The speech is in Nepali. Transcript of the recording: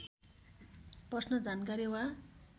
प्रश्न जानकारी वा